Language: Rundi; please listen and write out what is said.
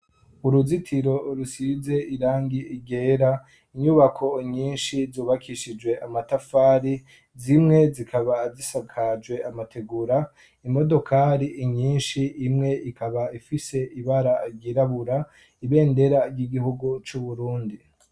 Uruzitiro rusize irangi ryera, inyubako nyinshi zubakishijwe amatafari, zimwe zikaba azisakaje amategura, imodokari inyinshi imwe ikaba ifise ibara ryirabura, ibendera ry'igihugu c'Uburundi.